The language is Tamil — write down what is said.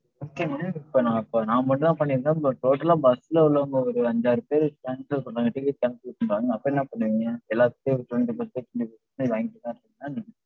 okay madam. இப்ப நான், இப்ப நான் மட்டுதான் பண்ணிருந்தன். but total ஆ bus ல உள்ளவங்க ஒரு அஞ்சாறு பேர் cancel பண்றாங்க, ticket cancel பண்றாங்கனா அப்ப என்ன பண்ணுவீங்க. எல்லாத்துகிட்டயும் twenty five percentage வாங்கிட்டு தா இருப்பீங்களா என்ன